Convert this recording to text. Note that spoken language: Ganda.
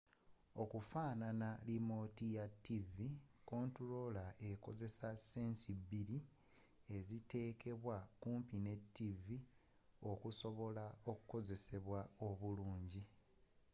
okufaanana limooti ya tivi kontuloola ekozesa sense bbiri eziteekebwa okumpi ne tivi okusobola okukozesebwa obulungi